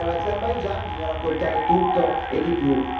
Invece dell'Azerbaigian bisogna raccontare tutto e di più.